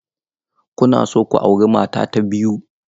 Kuna so ku auri mata ta biyu?